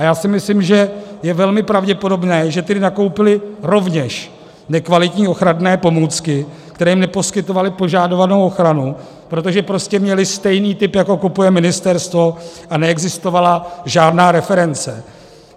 A já si myslím, že je velmi pravděpodobné, že tedy nakoupily rovněž nekvalitní ochranné pomůcky, které jim neposkytovaly požadovanou ochranu, protože prostě měly stejný typ, jako kupuje ministerstvo, a neexistovala žádná reference.